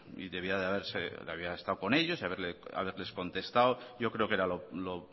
y debía de haber estado con ellos y haberles contestado yo creo que era lo